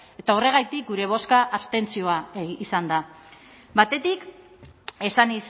eta horregatik gure bozka abstentzioa izan da batetik esan